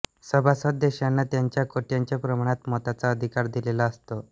सभासद देशांना त्यांच्या कोट्याच्या प्रमाणात मताचा अधिकार दिलेला असतो